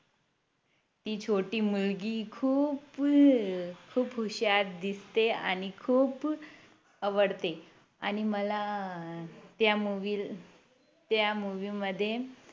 ती छोटी मुलगी खूप खूप हुषार दिसते आणि खूप आवडते आणि मला त्या Movie त्या Movie मध्ये